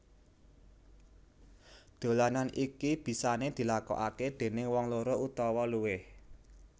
Dolanan iki bisane dilakokake déning wong loro utawa luwih